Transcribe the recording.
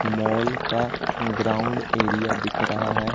Mall का ground area दिख रहा है।